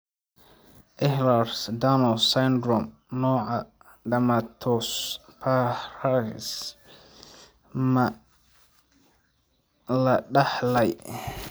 Ehlers Danlos syndrome, nooca dermatosparaxis ma la dhaxlay?